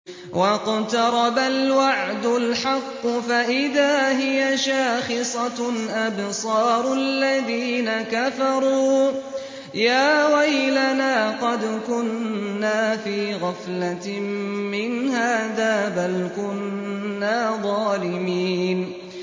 وَاقْتَرَبَ الْوَعْدُ الْحَقُّ فَإِذَا هِيَ شَاخِصَةٌ أَبْصَارُ الَّذِينَ كَفَرُوا يَا وَيْلَنَا قَدْ كُنَّا فِي غَفْلَةٍ مِّنْ هَٰذَا بَلْ كُنَّا ظَالِمِينَ